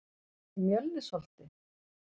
Mjölnisholti